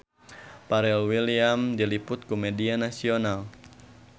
Pharrell Williams diliput ku media nasional